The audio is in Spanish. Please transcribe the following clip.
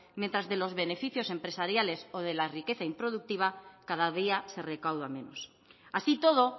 mientras de los beneficios empresariales o de la riqueza improductiva cada día se recauda menos así y todo